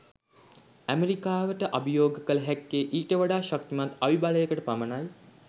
ඇමරිකාවට අභියෝග කල හැක්කේ ඊට වඩා ශක්තිමත් අවිබලයකට පමණයි